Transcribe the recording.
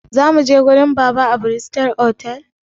Zamuje wajen baba a bristol otal?